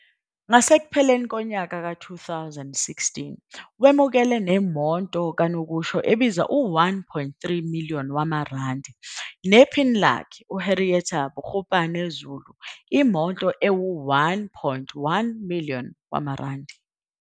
Ngasekupheleni kuka-2016 wemukele nemoto kanokusho ebiza u-R1.3 million, nephini lakhe, uHendrietta Bogopane-Zulu, imoto eyi-R1.1 million.